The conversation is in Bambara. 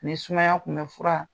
Ni sumaya kunbɛ fura